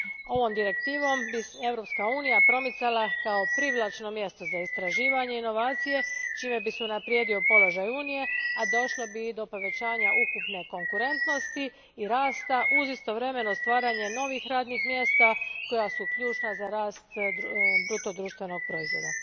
Ovom direktivom Europska unija bi se promicala kao privlačno mjesto za istraživanje i inovacije, čime bi se unaprijedio položaj Unije, a došlo bi i do povećanja ukupne konkurentnosti i rasta uz istovremeno stvaranje novih radnih mjesta koja su ključna za rast bruto društvenog proizvoda.